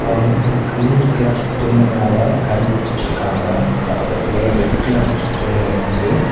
அவங்க ஒரு green colour துணி மேல கை வச்சிட்டு இருக்காங்க பக்கத்திலேயே ரெட் கலர் துணி இருக்குது.